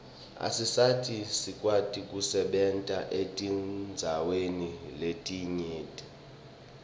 asisita sikwati kusebenta etindzaweni letinyenti